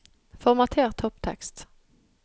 Formater topptekst